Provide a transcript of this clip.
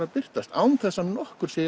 að birtast án þess að nokkur sé í